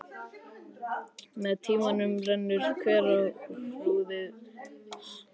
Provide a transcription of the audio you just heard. Með tímanum rennur hverahrúðrið saman og myndar þéttan ópal.